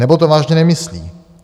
Nebo to vážně nemyslí.